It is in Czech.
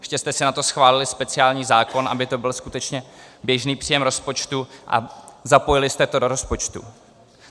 Ještě jste si na to schválili speciální zákon, aby to byl skutečně běžný příjem rozpočtu, a zapojili jste to do rozpočtu.